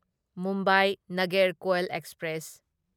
Mumbai Nagercoil express